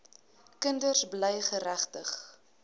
kinders bly geregtig